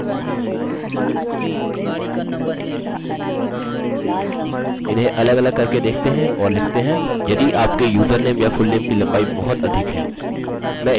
मैं लिखता हूँ max limit for username or fullname are 25 characters